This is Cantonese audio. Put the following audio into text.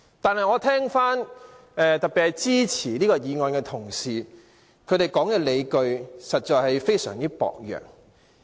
但是，我聽到特別是支持這項議案的同事所說的理據實在非常薄弱。